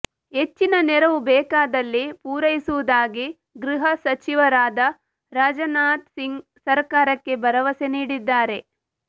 ಹೆಚ್ಚಿನ ನೆರವು ಬೇಕಾದಲ್ಲಿ ಪೂರೈಸುವುದಾಗಿ ಗೃಹಸಚಿವರಾದ ರಾಜನಾಥ್ ಸಿಂಗ್ ಸರಕಾರಕ್ಕೆ ಭರವಸೆ ನೀಡಿದ್ದಾರೆ